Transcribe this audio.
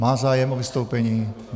Má zájem o vystoupení?